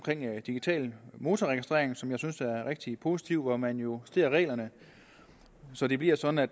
digital motorregistrering som jeg synes er rigtig positiv man justerer reglerne så det bliver sådan at